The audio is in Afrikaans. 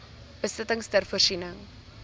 besittings ter voorsiening